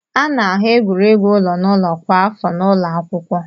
A na-ahụ egwuregwu ụlọ n'ụlọ kwa afọ n'ụlọ akwụkwọ.